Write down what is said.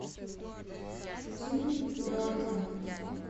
тим бертон